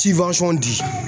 di